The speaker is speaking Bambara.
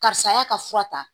Karisa y'a ka fura ta